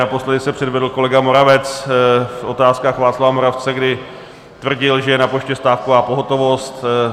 Naposledy se předvedl kolega Moravec v Otázkách Václava Moravce, kdy tvrdil, že je na poště stávková pohotovost.